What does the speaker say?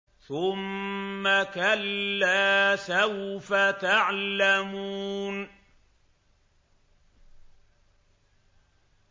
ثُمَّ كَلَّا سَوْفَ تَعْلَمُونَ